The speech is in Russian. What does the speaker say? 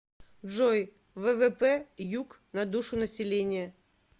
джой ввп юк на душу населения